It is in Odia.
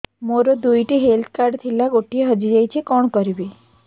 ମୋର ଦୁଇଟି ହେଲ୍ଥ କାର୍ଡ ଥିଲା ଗୋଟିଏ ହଜି ଯାଇଛି କଣ କରିବି